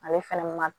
Ale fɛnɛ ma